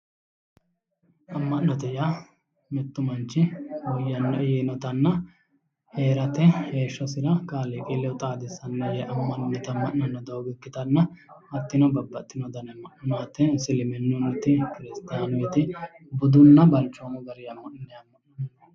amma'note yaa mittu manchi woyyannoe yinotanna heerate heeshshosira kaaliqi ledo xaadissannoe yee amma'nanni doogo ikkitanna hattino babbaxitino dani amma'no no isiliminnunniti kiristaanunniti budunna balchoomu garinni amma'ninanniti no.